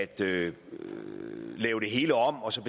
det hele om og så